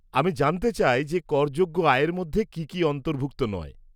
আমি জানতে চাই যে করযোগ্য আয়ের মধ্যে কি কি অন্তর্ভুক্ত নয়।